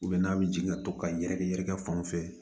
n'a bɛ jigin to ka yɛrɛkɛ yɛrɛkɛ fan fɛ